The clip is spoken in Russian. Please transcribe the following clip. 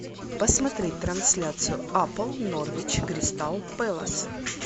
посмотреть трансляцию апл норвич кристал пэлас